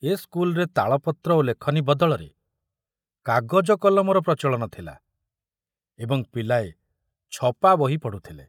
ଏ ସ୍କୁଲରେ ତାଳପତ୍ର ଓ ଲେଖନୀ ବଦଳରେ କାଗଜ କଲମର ପ୍ରଚଳନ ଥିଲା ଏବଂ ପିଲାଏ ଛପା ବହି ପଢ଼ୁଥିଲେ।